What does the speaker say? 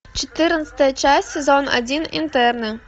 четырнадцатая часть сезон один интерны